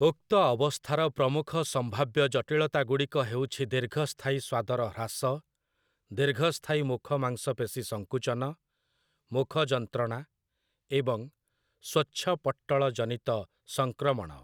ଉକ୍ତ ଅବସ୍ଥାର ପ୍ରମୁଖ ସମ୍ଭାବ୍ୟ ଜଟିଳତାଗୁଡ଼ିକ ହେଉଛି ଦୀର୍ଘସ୍ଥାୟୀ ସ୍ୱାଦର ହ୍ରାସ, ଦୀର୍ଘସ୍ଥାୟୀ ମୁଖ ମାଂସପେଶୀ ସଙ୍କୁଞ୍ଚନ, ମୁଖ ଯନ୍ତ୍ରଣା ଏବଂ ସ୍ୱଚ୍ଛପଟ୍ଟଳଜନିତ ସଂକ୍ରମଣ ।